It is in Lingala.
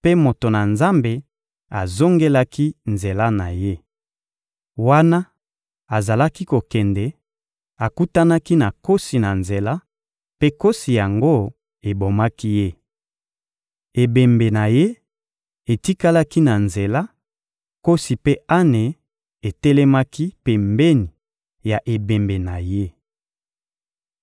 mpe moto na Nzambe azongelaki nzela na ye. Wana azalaki kokende, akutanaki na nkosi na nzela, mpe nkosi yango ebomaki ye. Ebembe na ye etikalaki na nzela, nkosi mpe ane etelemaki pembeni ya ebembe na ye.